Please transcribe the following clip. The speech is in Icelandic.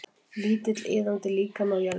Lítill iðandi líkami á jörðinni.